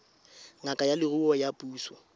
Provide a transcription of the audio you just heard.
ngaka ya leruo ya puso